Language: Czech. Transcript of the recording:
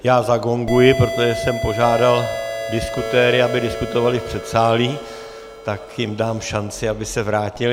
Já zagonguji, protože jsem požádal diskutéry, aby diskutovali v předsálí, tak jim dám šanci, aby se vrátili...